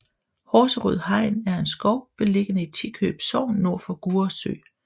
Horserød Hegn er en skov beliggende i Tikøb Sogn nord for Gurre Sø